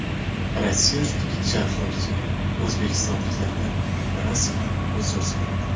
Rossiyalik sharhlovchi o‘zbekistonliklardan rasman uzr so‘radi.